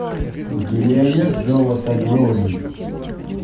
у тебя есть золото глории